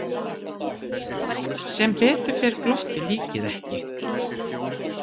Sem betur fer glotti líkið ekki.